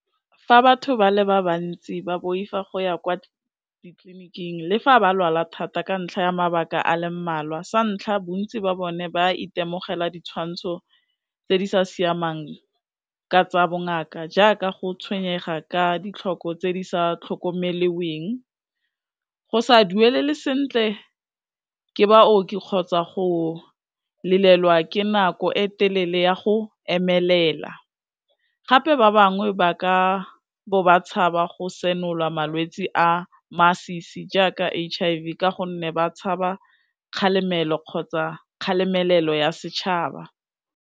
Fa batho ba le ba bantsi ba boifa go ya kwa ditleliniking le fa ba lwala thata ka ntlha ya mabaka a le mmalwa, sa ntlha bontsi ba bone ba itemogela ditshwantsho tse di sa siamang ka tsa bongaka jaaka go tshwenyega ka ditlhoko tse di sa tlhokomeliweng, go sa duelelwe sentle ke baooki kgotsa go lelelwa ke nako e telele ya go emelela, gape ba bangwe ba ka bo ba tshaba go senola malwetsi a masisi jaaka H_I_V ka gonne ba tshaba kgalemelo kgotsa kgalemelelo ya setšhaba.